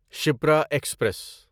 Shipra express